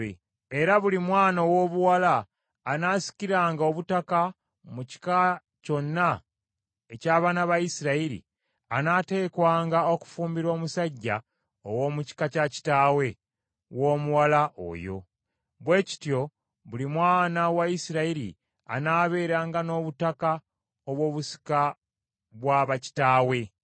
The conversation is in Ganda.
Era buli mwana owoobuwala anaasikiranga obutaka mu kika kyonna eky’abaana ba Isirayiri, anaateekwanga okufumbirwa omusajja ow’omu kika kya kitaawe w’omuwala oyo; bwe kityo buli mwana wa Isirayiri anaabeeranga n’obutaka obw’obusika bwa bakitaawe.